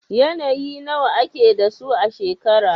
Yanayi nawa ake da su a shekara?